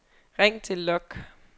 ring til log